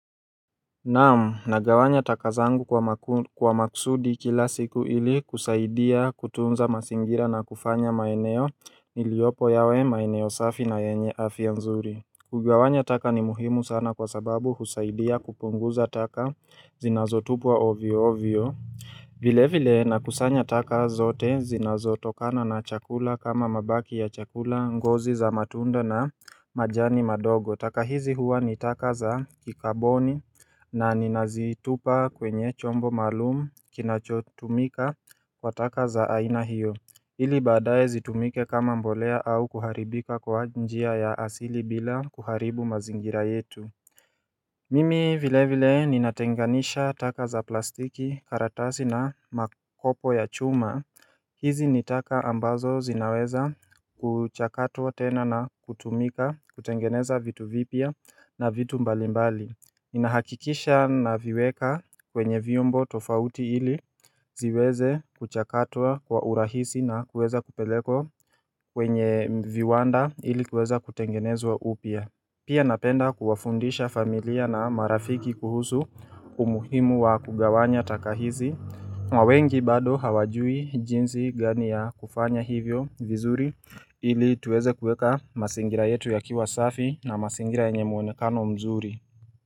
Naamu, nagawanya taka zangu kwa maksudi kila siku ili kusaidia kutunza masingira na kufanya maeneo niliopo yawe maeneo safi na yenye afya nzuri. Kugawanya taka ni muhimu sana kwa sababu husaidia kupunguza taka zinazotupwa ovio ovio. Vile vile na kusanya taka zote zinazotokana na chakula kama mabaki ya chakula ngozi za matunda na majani madogo. Taka hizi huwa ni taka za kikaboni na ninazitupa kwenye chombo malumu kinachotumika kwa taka za aina hiyo Ili badaye zitumike kama mbolea au kuharibika kwa njia ya asili bila kuharibu mazingira yetu Mimi vile vile ninatenganisha taka za plastiki karatasi na makopo ya chuma. Hizi nitaka ambazo zinaweza kuchakatwa tena na kutumika kutengeneza vitu vipia na vitu mbalimbali. Ninahakikisha na viweka kwenye viombo tofauti ili ziweze kuchakatwa kwa urahisi na kuweza kupeleko kwenye viwanda ili kuweza kutengenezwa upia Pia napenda kuwafundisha familia na marafiki kuhusu umuhimu wa kugawanya taka hizi, na wengi bado hawajui jinsi gani ya kufanya hivyo vizuri ili tuweze kueka masingira yetu yakiwa safi na masingira yenye muonekano mzuri.